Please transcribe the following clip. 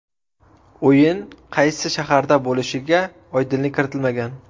O‘yin qaysi shaharda bo‘lishiga oydinlik kiritilmagan.